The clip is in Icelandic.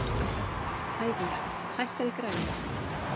Ævör, hækkaðu í græjunum.